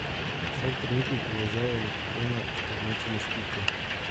Vsak trenutni položaj elektrona označimo s piko.